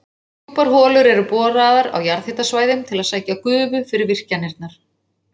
Djúpar holur eru boraðar á jarðhitasvæðum til að sækja gufu fyrir virkjanirnar.